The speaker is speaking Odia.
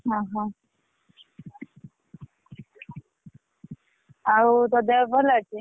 ଓହୋ! ଆଉ ତୋ ଦେହ ଭଲ ଅଛି?